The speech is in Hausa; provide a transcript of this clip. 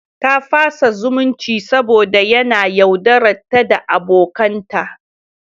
Ta fasa zumunci saboda yana yaudararta da abokanta.